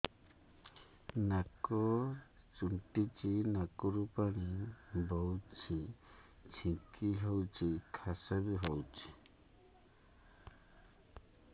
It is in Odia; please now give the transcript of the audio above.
ନାକ ଚୁଣ୍ଟୁଚି ନାକରୁ ପାଣି ବହୁଛି ଛିଙ୍କ ହଉଚି ଖାସ ବି ହଉଚି